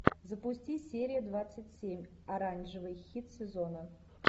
запусти серия двадцать семь оранжевый хит сезона